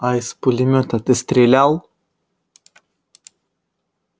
а из пулемёта ты стрелял